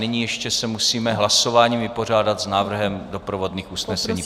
Nyní se ještě musíme hlasováním vypořádat s návrhem doprovodných usnesení.